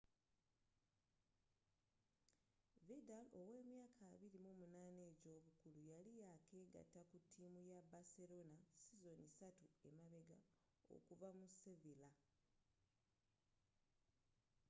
vidal ow'emyaka 28 ej'obukulu yali yakegata ku tiimu ya baserona sizoni satu emabega okuva mu sevilla